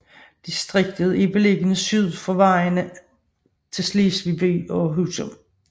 Distriktet er beliggende syd for vejene til Slesvig by og Husum